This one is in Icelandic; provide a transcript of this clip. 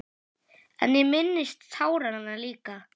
En ég minnist táranna líka.